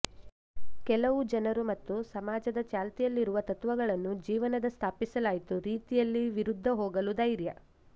ಕೆಲವು ಜನರು ಮತ್ತು ಸಮಾಜದ ಚಾಲ್ತಿಯಲ್ಲಿರುವ ತತ್ವಗಳನ್ನು ಜೀವನದ ಸ್ಥಾಪಿಸಲಾಯಿತು ರೀತಿಯಲ್ಲಿ ವಿರುದ್ಧ ಹೋಗಲು ಧೈರ್ಯ